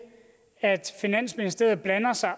at finansministeriet blander sig